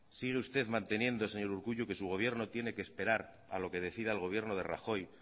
sigue usted manteniendo señor urkullu que su gobierno tiene que esperar a lo que decida el gobierno de rajoy